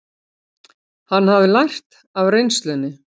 Hann hafði lært af reynslunni.